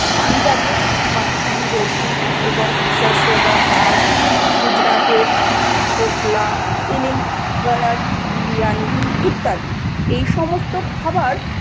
পঞ্জাবে মাক্কি কি রুটি এবং সারসন কা শাগ, গুজরাটের ঢোকলা, তেলেঙ্গনার বিরিয়ানি ইত্যাদি এই সমস্ত খাবার